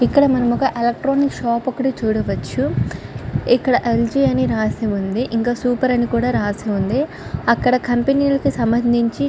ఇక్కడ మనం ఒక ఎలక్ట్రానిక్ షాప్ ఒక్కటి చూడవచ్చు. ఇక్కడ ఏజి అని రాసి ఉంది. ఇంకా సూపర్ అని కూడా రాసి వుంది. అక్కడ కంపెనీలకి సంబంధించి--